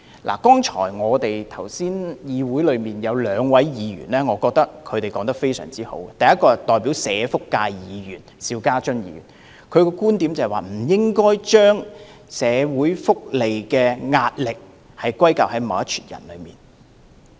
我覺得剛才有兩位議員的發言十分中肯，第一位是代表社福界的邵家臻議員，他的觀點是不應該把社會福利的壓力歸咎於某些人。